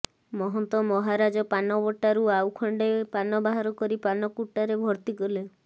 ମହନ୍ତ ମହାରାଜ ପାନ ବଟାରୁ ଆଉ ଖଣ୍ଡେ ପାନ ବାହାର କରି ପାନକୁଟାରେ ଭର୍ତ୍ତି କଲେ